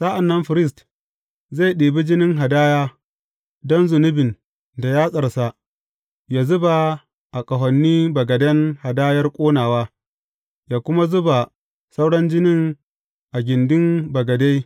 Sa’an nan firist zai ɗibi jinin hadaya don zunubin da yatsarsa yă zuba a ƙahonin bagaden hadayar ƙonawa, yă kuma zuba sauran jinin a gindin bagade.